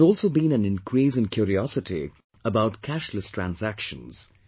There has also been an increase in curiosity about cashless transactions